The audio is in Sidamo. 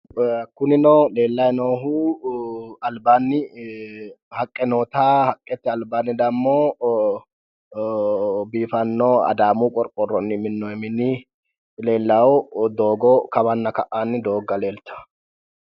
Kunino leelayi noohu alibaani haqqe noota haqqete alibaani damo biiffano adaamu qoriqqoroni minooni mini leelawo doogo kawana ka'ani dooga leelitawo